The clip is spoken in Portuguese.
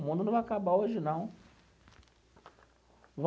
O mundo não vai acabar hoje, não.